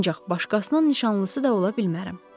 Ancaq başqasının nişanlısı da ola bilmərəm.